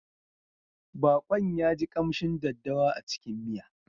Baƙon ya ji ƙamshin daddawa a cikin miya.